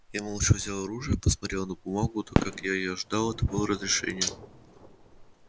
я молча взял оружие посмотрел на бумагу да как я и ожидал это было разрешение